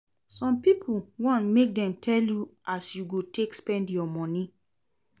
Some pipo wan make dem tell you as you go take spend your moni.